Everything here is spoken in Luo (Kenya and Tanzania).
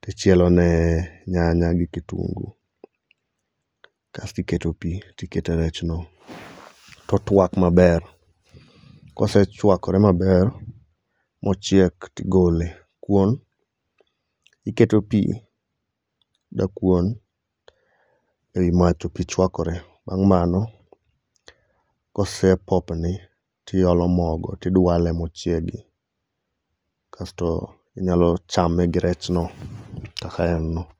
to ichielone nyanya gi kitunguu kasto iketo pi, tiketo rech no. To otuak maber. Kosechuakre maber mochiek tigole. Kuon, iketo pi dakuon ewi mach to pi chwakore, bang' mano, kose popni tiolo mogo tidwale mochiegi. Kasto inyalo chame gi rechno kaka en no.